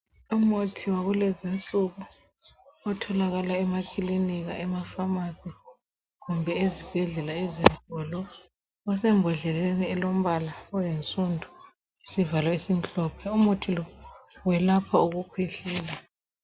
Umuthi wakulezinsuku otholakala emakilinika, emafamasi kumbe ezibhedlela ezinkulu osembodleleni elombala oyinsundu lesivalo esimhlophe. Umuthi lo uyelapha ukukhwehlela.